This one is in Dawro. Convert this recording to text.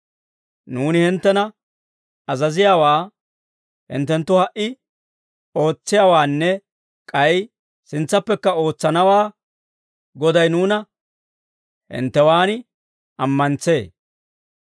Nuuni hinttena azaziyaawaa hinttenttu ha"i ootsiyaawaanne k'ay sintsappekka ootsanawaa Goday nuuna hinttewaan ammantsee.